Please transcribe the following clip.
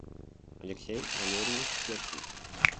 алексей валерьевич пешкин